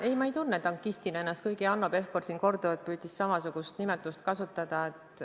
Ei, ma ei tunne ennast tankistina, kuigi Hanno Pevkur püüdis siin korduvalt sama nimetust kasutada.